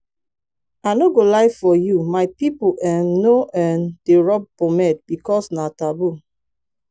i no go lie for you my people um no um dey rub pomade because na taboo